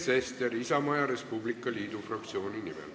Sven Sester Isamaa ja Res Publica Liidu fraktsiooni nimel.